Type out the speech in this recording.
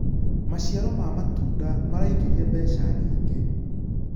maciaro ma matunda maraingiria mbeca nyingi